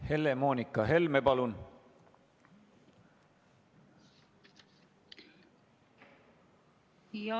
Helle-Moonika Helme, palun!